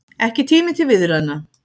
Ekki tími til viðræðna